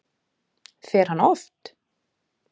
Fer hann oft?